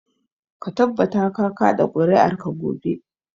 Ka tabbata ka kaɗa ƙuri'arka gobe.